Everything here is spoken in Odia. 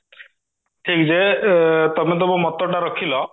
ଯେ ତମେ ତମ ମତଟା ରଖିଲ